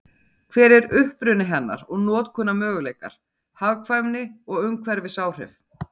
Hver er uppruni hennar og notkunarmöguleikar, hagkvæmni og umhverfisáhrif?